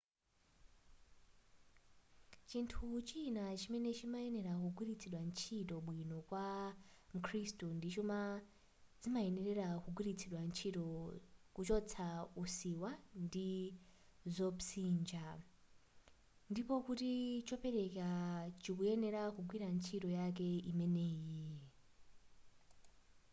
chinthu china chimene chimayenera kugwilitsidwa ntchito bwino kwa mkhrisitu ndi chuma zimayenera kugwilitsidwa ntchito kuchotsa usiwa ndi zopsinja ndipo kuti chopereka chikuyenera kugwira ntchito yake imeneyi